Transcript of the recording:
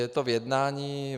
Je to v jednání.